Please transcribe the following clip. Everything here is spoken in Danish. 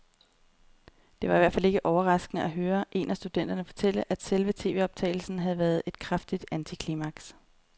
Det var i hvert fald ikke overraskende at høre en af studenterne fortælle, at selve tvoptagelsen havde været et kraftigt antiklimaks.